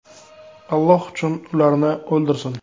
Alloh ham ularni o‘ldirsin.